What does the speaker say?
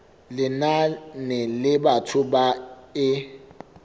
lenane la batho ba e